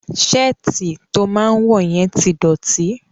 Ṣáàtì to máa wọ yẹn ti dọ̀tí.